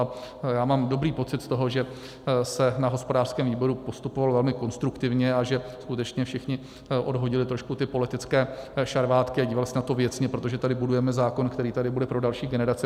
A já mám dobrý pocit z toho, že se na hospodářském výboru postupovalo velmi konstruktivně a že skutečně všichni odhodili trošku ty politické šarvátky a dívali se na to věcně, protože tady budujeme zákon, který tady bude pro další generace.